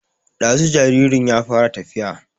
Ɗazu jaririn ya fara tafiya